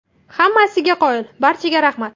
Hammasiga qoyil, barchaga rahmat.